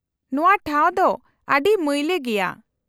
-ᱱᱚᱶᱟ ᱴᱷᱟᱣ ᱫᱚ ᱟᱹᱰᱤ ᱢᱟᱹᱭᱞᱟᱹ ᱜᱮᱭᱟ ᱾